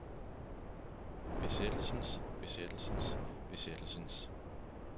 besættelsens besættelsens besættelsens